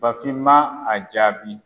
Bafin ma a jaabi